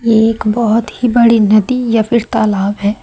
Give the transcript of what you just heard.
एक बहोत ही बड़ी नदी या फिर तालाब है।